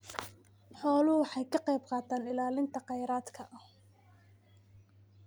Xooluhu waxay ka qaybqaataan ilaalinta kheyraadka.